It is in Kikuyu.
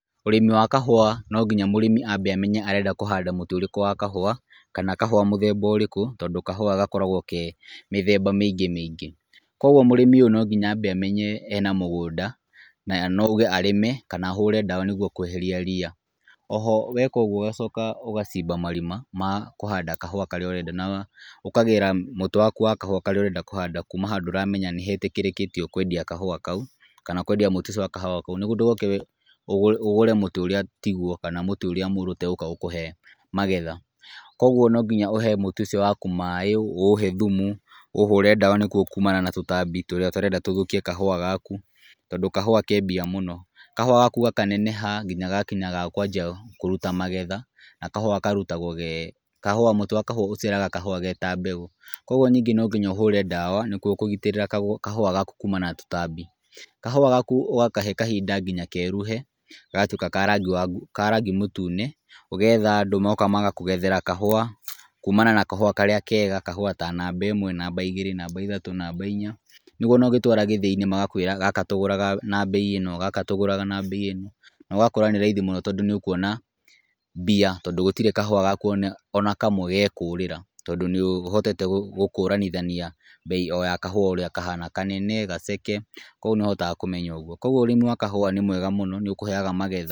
Ũrĩmi wa kahũa no nginya mũrĩmi amenye arenda kũhanda mũtĩ ũrĩkũ wa kahũa, kana kahũa mũthemba ũrĩkũ , tondũ kahũa gakoragwo ke mĩthemba mĩingĩ mĩingĩ, kũgwo mũrĩmi ũyũ no nginya ambe amenye ena mũgũnda, na no auge arĩme kana ahũre ndawa nĩgwo kweheria ria , oho weka ũgwo ũgacoka ũgacimba marima ma kũhanda kahũa karĩa ũrenda , na ũkagĩra mũtĩ waku wa kahũa karĩa ũrenda kũhanda kuma handũ ũramenya nĩ hetĩkĩrĩkĩtio kwendio kahũa kau, kana kwendia mũtĩ ũcio wa kahũa kau , nĩgwo ndũgoke ũgũre mũtĩ ũrĩa tigwo kana mũtĩ ũrĩa mũru ũtagũka gũkũhe magetha, kũgwo no nginya ũhe mũtĩ ũcio waku maaĩ ũũhe thumu , ũũhũre ndawa kumana na tũtambi tũrĩa ũtarenda tũthũkie kahũa gaku tondũ kahũa ke mbia mũno, kahũa gaku gakaneneha nginya gagakinya handũ gakanjia kũruta magetha , na kahũa karutagwo ge mũtĩ wa kahũa ũciaraga kahũa ge ta mbegũ, kũgwo ningĩ no nginya ũhũre ndawa nĩgwo kũgitĩra kahũa gaku kumana na tũtambi , kahũa gaku ũgakahe kahinda nginya keruhe gagatwĩka ka rangi mũtune , ũgetha andũ magoka magakũgethera kahũa kumana na kahũa karĩa kega , namba ĩmwe , namba igĩrĩ, namba ithatũ , namba inya, nĩgwo ona ũgĩtwara gĩthĩ-inĩ magakwĩra gaka tũgũraga na mbei ĩno, gaka tũgũraga na mbei ĩno, na ũgakora nĩ raithi mũno tondũ nĩ ũkuona mbia, tondũ gũtiri kahũa gaku ona kamwe ge kũrĩra , tondũ nĩ ũhotete gũkũrithania mbei ĩyo ya kahua kau ũrĩa kahana , kanene gaceke , kũgwo nĩ ũhotaga kũmenya ũgwo, kũgwo ũrĩmi wa kahũa nĩ mwega mũno nĩ ũkũheaga magetha.